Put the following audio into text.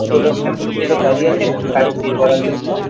দুটো লোক এখানে তিনটে লোক দাঁড়িয়ে আছে শুধু গাড়ির তেল ভরার জন্য।